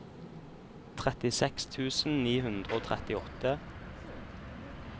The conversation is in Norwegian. trettiseks tusen ni hundre og trettiåtte